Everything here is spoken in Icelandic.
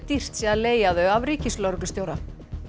dýrt sé að leigja þau af ríkislögreglustjóra